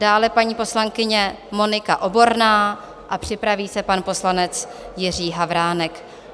Dále paní poslankyně Monika Oborná a připraví se pan poslanec Jiří Havránek.